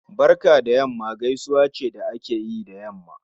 Barka da yamma gaisuwa ce da akeyi da yamma